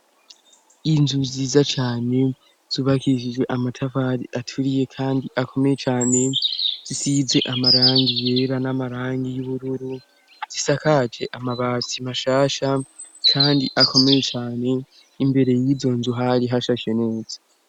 Inzu nziza cane zubakishijwe amatafari aturiye kandi akomeye cane zisize amagarangi yera namarangi y' ubururu isakaje amabati mashasha kandi akomeye cane Imbere y'izonzu hari hashashe neza